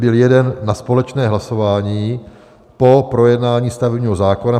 Byl jeden na společné hlasování po projednání stavebního zákona.